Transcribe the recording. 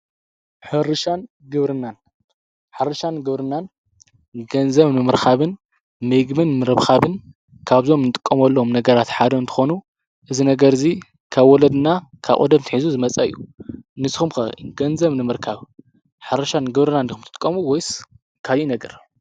ርሻንግናንሓርሻን ግብርናን ገንዘም ምምህርካብን መግምን ምረብኻብን ካብዞም ንጥቆምሎም ነገራት ሓዶ እንተኾኑ እዝ ነገርእዙይ ካብ ወለድና ካቐደምትኂዙ ዝመጸእዩ ንስኹምከ ገንዘም ምምህርካብ ሓርሻን ግብርናንዲኹም ትትቆሙ ወይስ ካይእ ነገር።